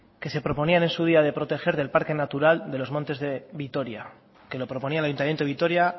que se proponían en su día de proteger del parque natural de los montes de vitoria que lo proponía el ayuntamiento de vitoria